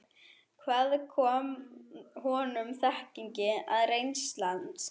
Hvaðan kom honum þekkingin og reynslan?